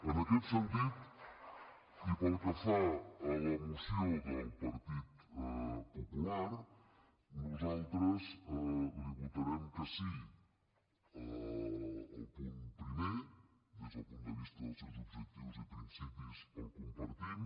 en aquest sentit i pel que fa a la moció del partit popular nosaltres li votarem que sí al punt primer des del punt de vista dels seus objectius i principis el compartim